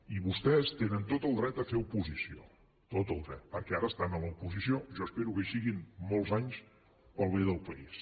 i vostès tenen tot el dret a fer oposició tot el dret perquè ara estan a l’oposició jo espero que hi siguin molts anys per al bé del país